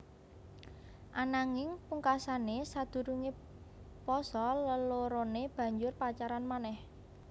Ananging pungkasané sadurungé pasa leloroné banjur pacaran manéh